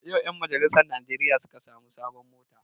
Yau ƴan majalisar najeriya suka sami sabon mota